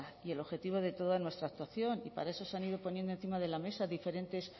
y el objetivo de toda nuestra actuación y para eso se han ido poniendo encima de la mesa diferentes